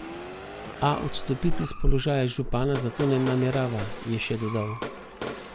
A odstopiti s položaja župana zato ne namerava, je še dodal.